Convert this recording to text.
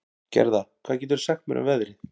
Gerða, hvað geturðu sagt mér um veðrið?